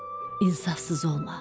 İnsafsız olma.